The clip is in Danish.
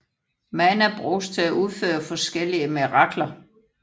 Mana bruges til at udføre forskellige mirakler